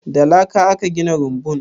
Da laka aka gina rumbun?